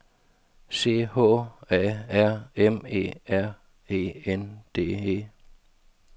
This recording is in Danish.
C H A R M E R E N D E